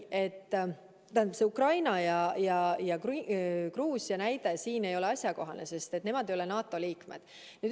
Ukraina ja Gruusia näide ei ole asjakohane, sest nemad ei ole NATO liikmed.